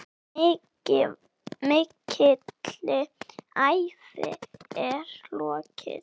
Mikilli ævi er lokið.